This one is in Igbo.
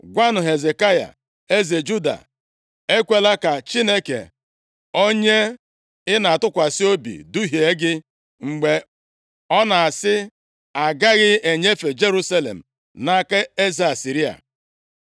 “Gwanụ Hezekaya, eze Juda, Ekwela ka Chineke onye ị na-atụkwasị obi duhie gị, mgbe ọ na-asị, ‘Agaghị enyefe Jerusalem nʼaka eze Asịrịa.’